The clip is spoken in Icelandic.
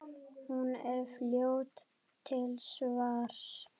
Hún er fljót til svars.